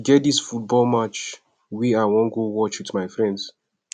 e get dis football match wey i wan go watch with my friends